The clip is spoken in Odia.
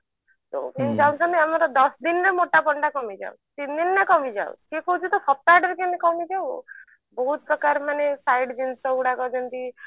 କିନ୍ତୁ ଚାହୁଞ୍ଚନ୍ତି ଦଶଦିନରେ ଆମର ମୋଟାପଣ ଟା କମିଯାଉ ତିନି ଦିନରେ କମିଯାଉ କିଏ କହୁଛି ତ ସପ୍ତାହ ଟାରେ କେମତି କମିଯାଉ ଆଉ ବହୁତ ପ୍ରକାର ମାନେ side ଜିନିଷ ଗୁଡାକ ଯେମତି